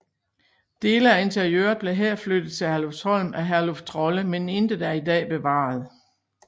Dele af interiøret blev her flyttet til Herlufsholm af Herluf Trolle men intet er i dag bevaret